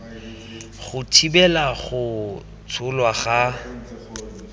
go thibela go tsholwa ga